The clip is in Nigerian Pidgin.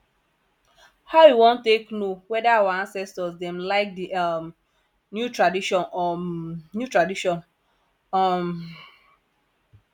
how we wan take know weda our acestors dem like di um new tradition um new tradition um